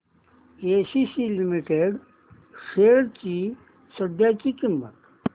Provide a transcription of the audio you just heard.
ACC limited shares ची सध्याची किंमत